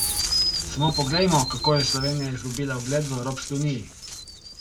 Samo poglejmo, kako je Slovenija izgubila ugled v Evropski uniji!